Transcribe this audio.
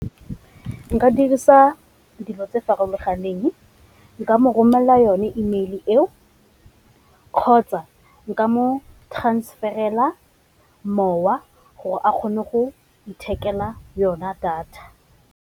Nka dirisa dilo tse farologaneng, nka mo romelela yone email eo kgotsa nka mo transfer-ela mowa gore a kgone go ithekela yona data.